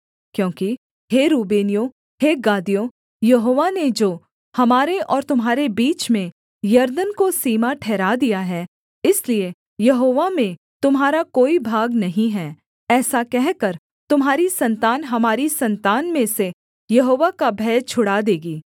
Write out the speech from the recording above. क्योंकि हे रूबेनियों हे गादियो यहोवा ने जो हमारे और तुम्हारे बीच में यरदन को सीमा ठहरा दिया है इसलिए यहोवा में तुम्हारा कोई भाग नहीं है ऐसा कहकर तुम्हारी सन्तान हमारी सन्तान में से यहोवा का भय छुड़ा देगी